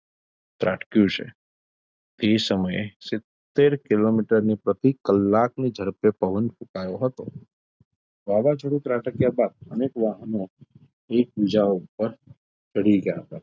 ત્રાટક્યું છે તે સમયે સિત્તેર કિલોમીટર પ્રતિ કલાકની ઝડપે પવન ફુકાયો હતો વાવાઝોડું ત્રાટક્યા બાદ અનેક વાહનો એકબીજા ઉપર ચડી ગયાં હતાં.